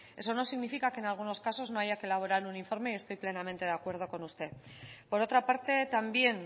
eso no significa que en algunos casos no haya que elaborar un informe y estoy plenamente de acuerdo con usted por otra parte también